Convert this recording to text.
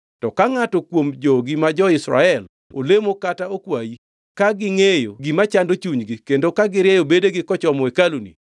to ka ngʼato kuom jogi ma jo-Israel olemo kata okwayi, ka gingʼeyo gima chando chunygi kendo ka girieyo bedegi kochomo hekaluni,